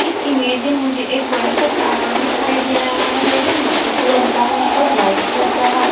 इस इमेज मुझे एक बड़ा सा टावर दिखाई दे रहा है जो मिट्टी कलर का है और व्हाइट कलर का है।